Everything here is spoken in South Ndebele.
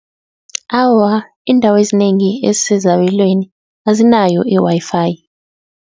Awa iindawo ezinengi ezisezabelweni azinayo i-Wi-Fi.